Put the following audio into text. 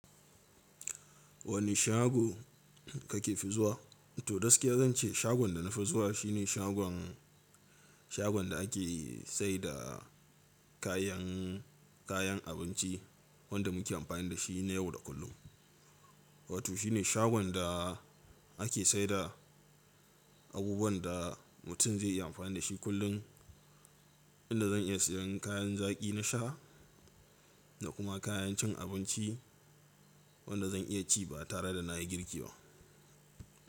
Wane shago kake fi zuwa? To gaskiya zan ce shagon da na fi zuwa shine shagon, shagon da ake saida kayan, kayan abinci wanda muke amfani da shi na yau da kullum. Wato shi ne shagon da ake saida abubuwan da mutum zai iya amfani da shi kullun, inda zan iya sayan kayan zaki na sha da kuma kayan cin abinci wanda zan iya ci ba tare da na yi girki ba.